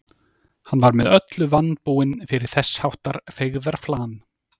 Hann var með öllu vanbúinn fyrir þess háttar feigðarflan.